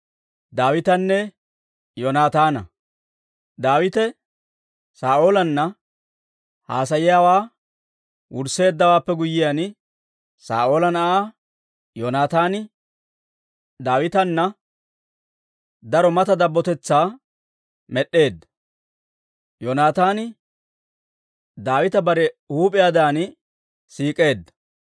Daawite Saa'oolanna haasayiyaawaa wursseeddawaappe guyyiyaan, Saa'oola na'aa Yoonataani Daawitana daro mata dabbotetsaa med'd'eedda; Yoonataani Daawita bare huup'iyaadan siik'eedda.